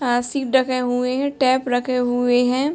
ढके हुए हैं टैप रखे हुए हैं ।